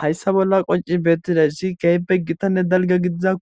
Haysa bola qonc'i betizaysi kehipe gitane dalga gidiza